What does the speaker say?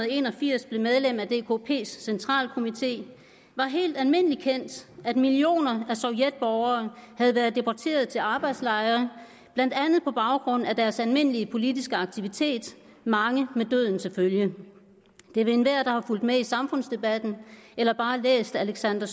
en og firs blev medlem af dkps centralkomite var helt almindelig kendt at millioner af sovjetborgere havde været deporteret til arbejdslejre blandt andet på baggrund af deres almindelige politiske aktivitet mange med døden til følge det vil enhver der har fulgt med i samfundsdebatten eller bare læst alexander